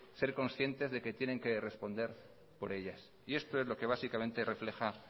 ser consciente de que tienen que responder por ellas y esto es lo que básicamente refleja